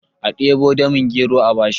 a debo damin gero a bashi!